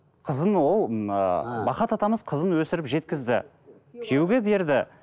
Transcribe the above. қызын ол ыыы махат атамыз қызын өсіріп жеткізді күйеуге берді